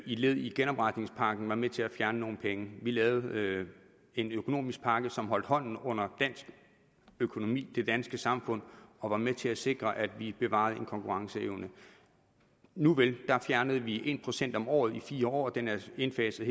led i genopretningspakken var med til at fjerne nogle penge vi lavede en økonomisk pakke som holdt hånden under dansk økonomi det danske samfund og var med til at sikre at vi bevarede en konkurrenceevne nuvel der fjernede vi en procent om året i fire år og den er indfaset